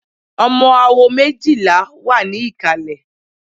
Ọmọ awo méjìlá wà ní ìkàlẹ̀.